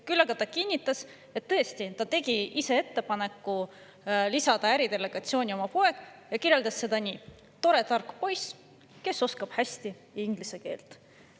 Küll aga ta kinnitas, et tõesti tegi ta ise ettepaneku lisada äridelegatsiooni oma poeg, ja kirjeldas teda nii: tore tark poiss, kes oskab hästi inglise keelt.